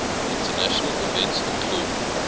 international events include